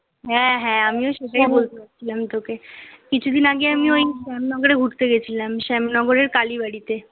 হ্যাঁ, হ্যাঁ, আমিও সেটাই বলতে যাচ্ছিলাম তোকে। কিছুদিন আগে আমি ঐ শ্যামনগরে ঘুরতে গেছিলাম, শ্যামনগরের কালিবাড়িতে।